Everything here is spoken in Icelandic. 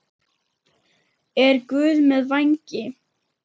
Er Guð með vængi?